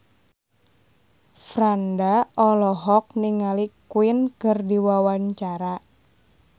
Franda olohok ningali Queen keur diwawancara